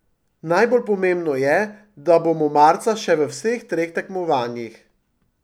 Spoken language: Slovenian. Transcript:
Najbolj pomembno je, da bomo marca še v vseh treh tekmovanjih.